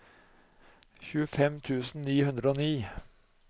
tjuefem tusen ni hundre og ni